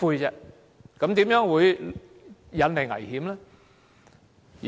這樣怎會引來危險呢？